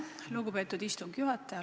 Lugupeetud istungi juhataja!